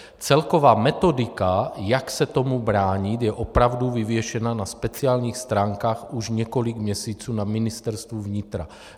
Celková metodika, jak se tomu bránit, je opravdu vyvěšena na speciálních stránkách už několik měsíců na Ministerstvu vnitra.